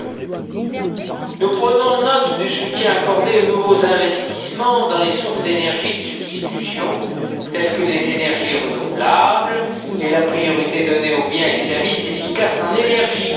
Reul. Nous prenons note du soutien accordé aux nouveaux investissements dans les sources d'énergie de substitution, telles que les énergies renouvelables, et de la priorité donnée aux biens et services efficaces en énergie.